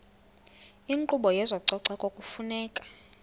inkqubo yezococeko kufuneka